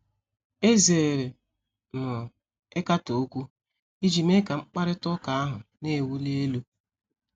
Ezere m ịkatọ okwu iji mee ka mkparịta ụka ahụ na-ewuli elu.